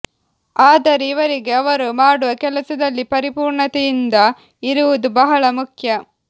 ಆದರೆ ಇವರಿಗೆ ಅವರು ಮಾಡುವ ಕೆಲಸದಲ್ಲಿ ಪರಿಪೂರ್ಣತೆಯಿಂದ ಇರುವುದು ಬಹಳ ಮುಖ್ಯ